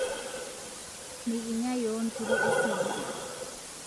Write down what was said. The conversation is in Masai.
Mikinyaa yuo nkiri esikiria